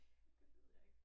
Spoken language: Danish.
Det ved jeg ikke